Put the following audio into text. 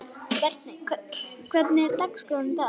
Berti, hvernig er dagskráin í dag?